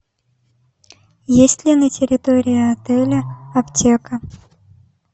есть ли на территории отеля аптека